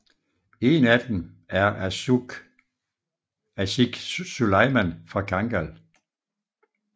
En af dem er Âşık Süleyman fra Kangal